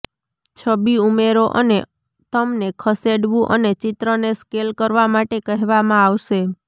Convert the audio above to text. છબી ઉમેરો અને તમને ખસેડવું અને ચિત્રને સ્કેલ કરવા માટે કહેવામાં આવશે